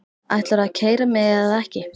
Ætlarðu að keyra mig eða ekki?